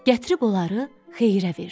Gətirib onları Xeyrə verdi.